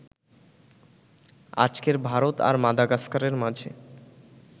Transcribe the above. আজকের ভারত আর মাদাগাস্কারের মাঝে